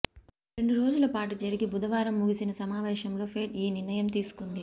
రెండు రోజుల పాటు జరిగి బుధవారం ముగిసిన సమావేశంలో ఫెడ్ ఈ నిర్ణయం తీసుకుంది